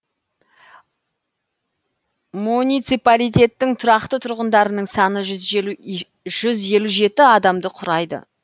муниципалитеттің тұрақты тұрғындарының саны жүз елу жеті адамды құрайды